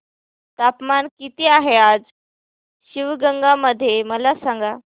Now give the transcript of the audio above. तापमान किती आहे आज शिवगंगा मध्ये मला सांगा